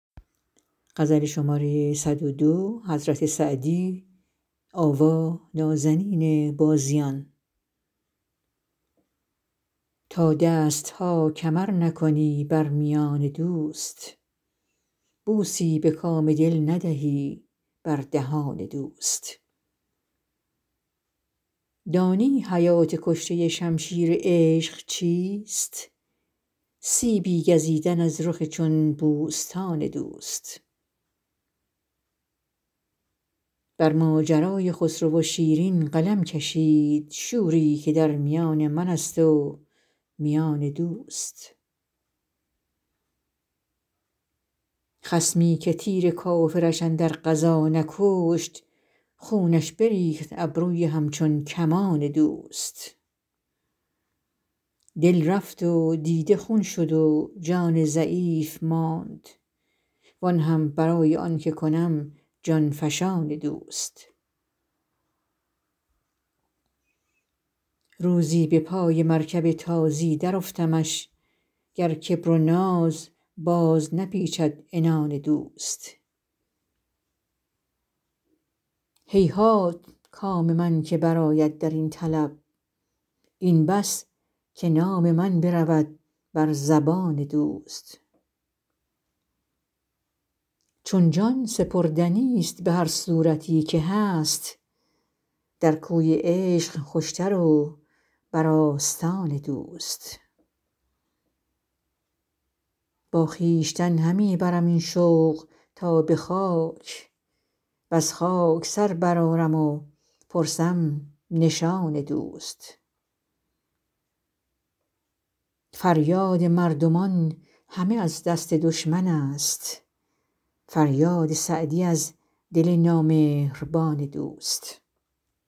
تا دست ها کمر نکنی بر میان دوست بوسی به کام دل ندهی بر دهان دوست دانی حیات کشته شمشیر عشق چیست سیبی گزیدن از رخ چون بوستان دوست بر ماجرای خسرو و شیرین قلم کشید شوری که در میان من است و میان دوست خصمی که تیر کافرش اندر غزا نکشت خونش بریخت ابروی همچون کمان دوست دل رفت و دیده خون شد و جان ضعیف ماند وآن هم برای آن که کنم جان فشان دوست روزی به پای مرکب تازی درافتمش گر کبر و ناز باز نپیچد عنان دوست هیهات کام من که برآید در این طلب این بس که نام من برود بر زبان دوست چون جان سپردنیست به هر صورتی که هست در کوی عشق خوشتر و بر آستان دوست با خویشتن همی برم این شوق تا به خاک وز خاک سر برآرم و پرسم نشان دوست فریاد مردمان همه از دست دشمن است فریاد سعدی از دل نامهربان دوست